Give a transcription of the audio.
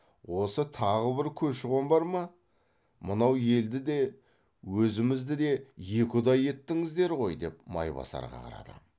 осы тағы бір көші қон бар ма мынау елді де өзімізді де екі ұдай еттіңіздер ғой деп майбасарға қарады